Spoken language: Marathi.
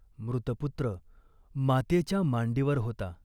मृतपुत्र मातेच्या मांडीवर होता.